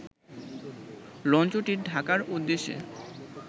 লঞ্চটি ঢাকার উদ্দেশ্যে